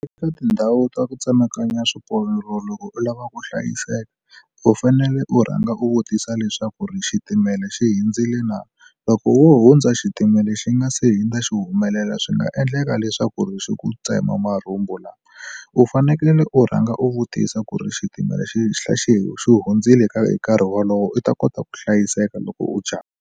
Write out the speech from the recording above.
Eka tindhawu ta ku tsemakanya swiporo loko u lava ku hlayiseka u fanele u rhanga u vutisa leswaku ri xitimela xi hindzile na loko wo hundza xitimela xi nga se hundza xi humelela swi nga endleka leswaku ri xi ku tsema marhumbu lama u fanekele u rhanga u vutisa ku ri xitimela xi xi xi hundzile ka hi nkarhi wolowo u ta kota ku hlayiseka loko u jump-a.